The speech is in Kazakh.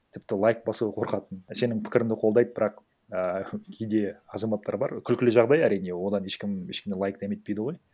тіпті лайк басуға қорқатын сенің пікірі ді қолдайды бірақ ііі кейде азаматтар бар күлкілі жағдай әрине одан ешкім ешкім лайк дәметпейді ғой